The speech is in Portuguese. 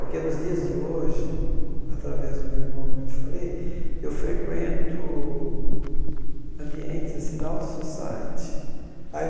Porque nos dias de hoje, através do meu irmão, como eu te falei, eu frequento ambientes assim da alto-society. Aí